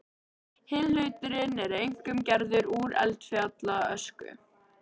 Hinn hlutinn er einkum gerður úr eldfjallaösku.